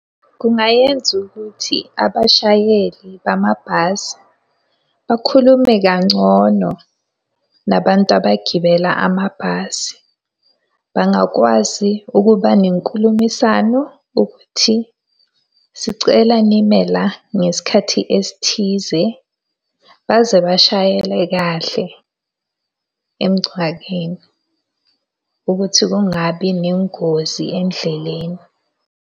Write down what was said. Kungayenza ukuthi abashayeli bamabhasi bakhulume kangcono, nabantu abagibela amabhasi. Bangakwazi ukuba nenkulumiswano ukuthi sicela nime la ngesikhathi esithize. Baze bashayele kahle emngcwabeni, ukuthi kungabi nengozi endleleni.